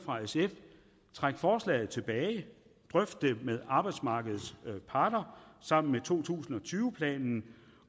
træk forslaget tilbage drøft det med arbejdsmarkedets parter sammen med to tusind og tyve planen